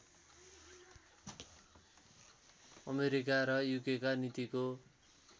America र युकेका नीतिको